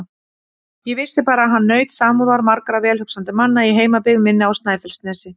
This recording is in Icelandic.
Ég vissi bara að hann naut samúðar margra velhugsandi manna í heimabyggð minni á Snæfellsnesi.